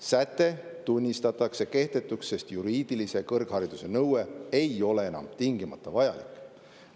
Säte tunnistatakse kehtetuks, sest juriidilise kõrghariduse nõue ei ole enam tingimata vajalik.